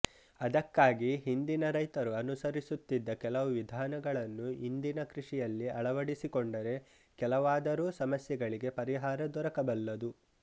ಅದಕ್ಕಾಗಿ ಹಿಂದಿನ ರೈತರು ಅನುಸರಿಸುತ್ತಿದ್ದ ಕೆಲವು ವಿಧಾನಗಳನ್ನು ಇಂದಿನ ಕೃಷಿಯಲ್ಲಿ ಅಳವಡಿಸಿಕೊಂಡರೆ ಕೆಲವಾದರೂ ಸಮಸ್ಯೆಗಳಿಗೆ ಪರಿಹಾರ ದೊರಕಬಲ್ಲದು